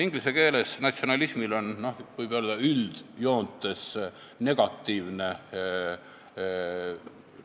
Inglise keeles on natsionalismil, võib öelda, üldjoontes negatiivne